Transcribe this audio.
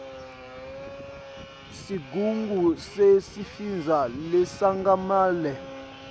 sigungu sesifundza lesengamele